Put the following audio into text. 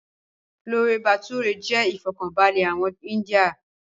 Chole Bhature jẹ́ ifọkanbalẹ àwọn íńdía